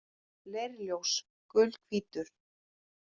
Leirljós: Gulhvítur.